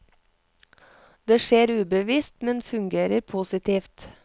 Det skjer ubevisst, men fungerer positivt.